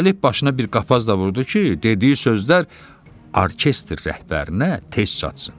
Üstəlik, başına bir qapaz da vurdu ki, dediyi sözlər orkestr rəhbərinə tez çatsın.